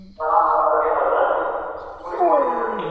ਛਾਂਲਾਂ ਮਾਰ ਮਾਰ ਕੇ ਹੱਸਦਾ ਵੀ ਪੂਰੀ body ਹਿੱਲਦੀ ਏ